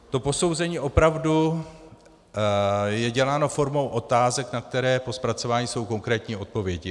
To posouzení opravdu je děláno formou otázek, na které po zpracování jsou konkrétní odpovědi.